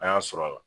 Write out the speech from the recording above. An y'a sɔrɔ a la